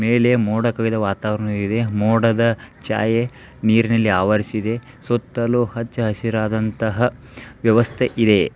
ಮೇಲೆ ಮೋಡಕವಿದ ವಾತಾವರಣ ಇದೆ ಮೋಡದ ಛಾಯೆ ನೀರಿನಲ್ಲಿ ಆವರಿಸಿದೆ ಸುತ್ತಲೂ ಹಚ್ಚ ಹಸಿರಾದಂತಹ ವ್ಯವಸ್ಥೆ ಇದೆ.